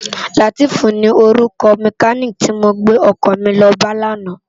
Lateef ni órúkò mèkánikí ti mó gbé òkò mi lò bá làná